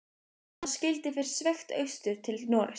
Þá skyldi fyrst sveigt austur til Noregs.